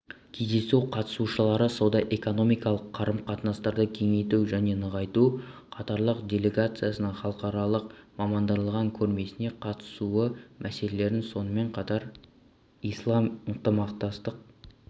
кездесу қатысушылары сауда-экономикалық қарым-қатынастарды кеңейту және нығайту катарлық делегацияның халықаралық мамандандырылған көрмесіне қатысуы мәселелерін сонымен қатар ислам ынтымақтастық